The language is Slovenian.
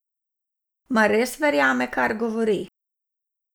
Mar res verjame, kar govori?